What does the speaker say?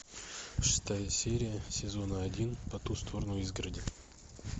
шестая серия сезона один по ту сторону изгороди